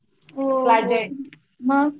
हो मग?